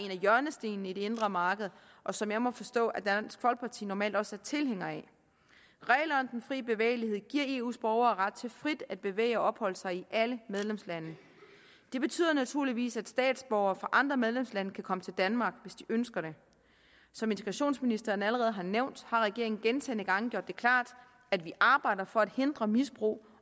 af hjørnestenene i det indre marked og som jeg må forstå at dansk folkeparti normalt også er tilhænger af reglerne om den fri bevægelighed giver eus borgere ret til frit at bevæge og opholde sig i alle medlemslande det betyder naturligvis at statsborgere fra andre medlemslande kan komme til danmark hvis de ønsker det som integrationsministeren allerede nævnt har regeringen gentagne gange gjort det klart at vi arbejder for at hindre misbrug